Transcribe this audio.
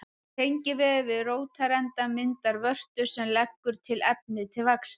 Tengivefur við rótarendann myndar vörtu sem leggur til efni til vaxtar.